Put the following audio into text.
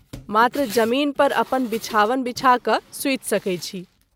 मात्र जमीन पर अपन विछावन विछा क’ सुति सकैत छी।